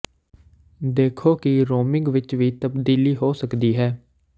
ਦੇਖੋ ਕਿ ਰੋਮਿੰਗ ਵਿੱਚ ਵੀ ਤਬਦੀਲੀ ਹੋ ਸਕਦੀ ਹੈ